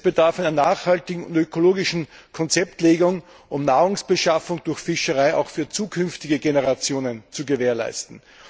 Es bedarf einer nachhaltigen und ökologischen Konzeptlegung, um Nahrungsbeschaffung durch Fischerei auch für zukünftige Generationen zu gewährleisten.